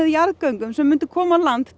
jarðgöng sem myndu koma á land